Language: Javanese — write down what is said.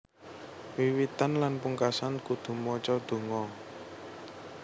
Wiwitan lan pungkasan kudu maca donga